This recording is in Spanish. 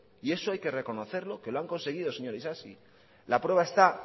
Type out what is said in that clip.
y eso hay que reconocerlo que lo han conseguido señor isasi la prueba esta